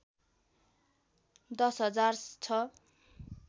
१० हजार छ